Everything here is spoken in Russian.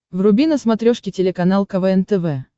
вруби на смотрешке телеканал квн тв